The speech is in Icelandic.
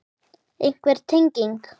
Einhver tenging?